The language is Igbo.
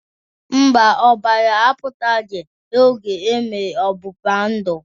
Mba, ọbara apụtarọ oge emere ọgbụgba ndụ